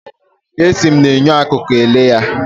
Esi m na enyo akụkụ ele ya.